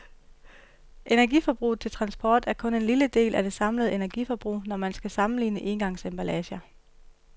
Energiforbruget til transport er kun en lille del af det samlede energiforbrug, når man skal sammenligne engangsemballager.